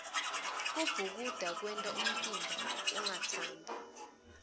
kubhukuda kwenta umtimba ungatsambi